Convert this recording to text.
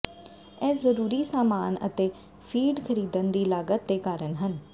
ਇਹ ਜ਼ਰੂਰੀ ਸਾਮਾਨ ਅਤੇ ਫੀਡ ਖਰੀਦਣ ਦੀ ਲਾਗਤ ਦੇ ਕਾਰਨ ਹੈ